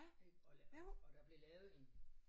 Ik og der og der blev lavet en